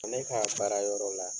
Ne k'a baara yɔrɔ la.